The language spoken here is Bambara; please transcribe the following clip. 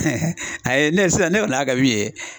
a ye ne sisan ne kɔni y'a kɛ min ye